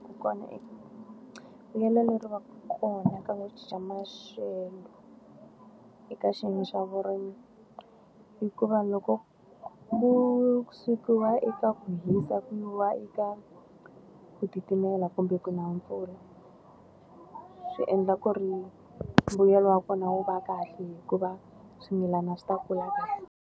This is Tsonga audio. Vuyelo leri va ka kona ka ku cinca maxelo eka xiyenge xa vurimi. Hikuva loko ku sukiwa eka hisa ku yiwa eka ku titimela kumbe ku na mpfula, swi endla ku ri mbuyelo wa kona wu va kahle hikuva swimilana swi ta kula kahle.